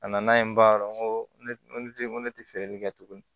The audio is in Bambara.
A nana yen ba gosi ko ne tɛ feereli kɛ tuguni